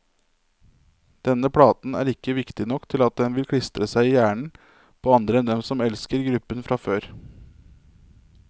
Denne platen er ikke viktig nok til at den vil klistre seg i hjernen på andre enn dem som elsker gruppen fra før.